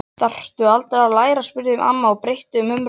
Þarftu aldrei að læra? spurði amma og breytti um umræðuefni.